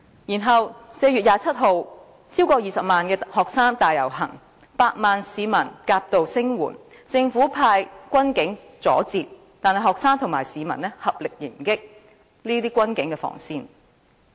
然後，在4月27日，超過20萬名學生大遊行，有百萬名市民夾道聲援，政府派軍警阻截，但學生和市民合力迎擊軍警防線。